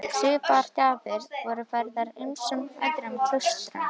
Svipaðar gjafir voru færðar ýmsum öðrum klaustrum.